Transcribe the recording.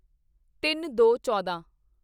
ਤਿੰਨਦੋਚੌਦਾਂ